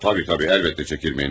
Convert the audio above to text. Tabii, tabii, elbette çəkinməyiniz.